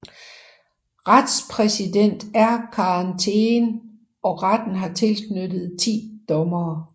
Retspræsident er Karen Thegen og retten har tilknyttet 10 dommere